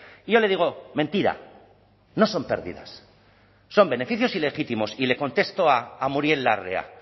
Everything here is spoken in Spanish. y yo le digo mentira no son pérdidas son beneficios ilegítimos y le contesto a muriel larrea